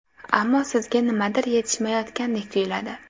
Ammo sizga nimadir yetishmayotgandek tuyiladi.